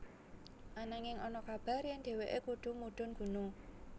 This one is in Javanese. Ananging ana kabar yèn dhéwéké kudu mudhun gunung